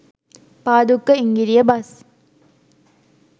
Padukka Ingiriya bus